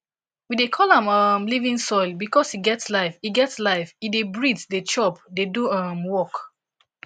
we dey call am um living soil because e get life e get life e dey breathe dey chop dey do um work